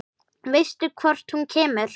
Veistu hvort hún kemur?